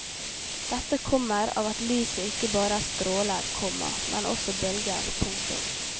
Dette kommer av at lyset ikke bare er stråler, komma men også bølger. punktum